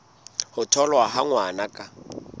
ho tholwa ha ngwana ka